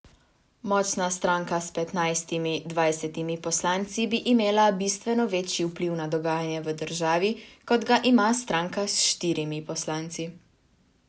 Močna stranka s petnajstimi, dvajsetimi poslanci bi imela bistveno večji vpliv na dogajanje v državi, kot ga ima stranka s štirimi poslanci.